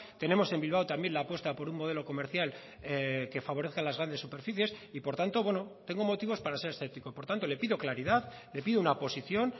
tenemos en bilbao también la apuesta por un modelo comercial que favorezca las grandes superficies y por tanto bueno tengo motivos para ser escéptico por tanto le pido claridad le pido una posición